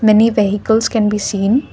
many vehicles can be seen.